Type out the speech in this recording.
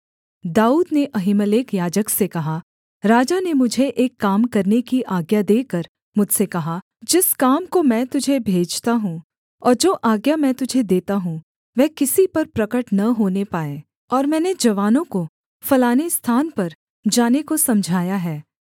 दाऊद ने अहीमेलेक याजक से कहा राजा ने मुझे एक काम करने की आज्ञा देकर मुझसे कहा जिस काम को मैं तुझे भेजता हूँ और जो आज्ञा मैं तुझे देता हूँ वह किसी पर प्रगट न होने पाए और मैंने जवानों को फलाने स्थान पर जाने को समझाया है